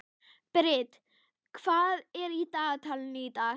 Brit, hvað er í dagatalinu í dag?